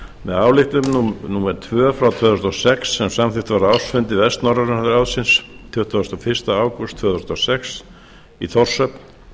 með ályktun númer tvö tvö þúsund og sex sem samþykkt var á ársfundi vestnorræna ráðsins tuttugasta og fyrsta ágúst tvö þúsund og sex í þórshöfn